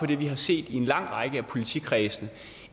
det vi har set i en lang række af politikredse